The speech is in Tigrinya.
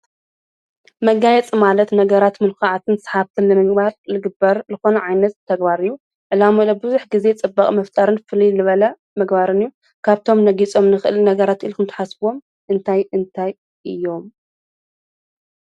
መጋይ ጽማለት ነገራት ምንኰዓትን ሰሓትል ምግባር ልግበር ልኾኑ ዓይነት ተግባርእዩ ዕላም ኡለብዙኅ ጊዜ ጽበቕ መፍጣርን ፍል ልበለ መግባርን እዩ ካብቶም ነጊጾም ንኽል ነገራት ኢልኹምትሓስብዎም እንታይ እንታይ እዮም